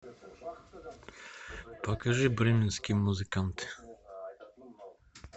покажи бременские музыканты